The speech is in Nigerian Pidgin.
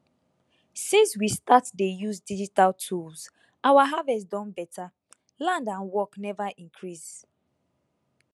since we start dey use digital tools our harvest don better land and work never increase